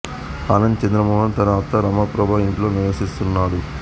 ఆనంద్ చంద్ర మోహన్ తన అత్త రమాప్రభ ఇంట్లో నివసిస్తున్నాడు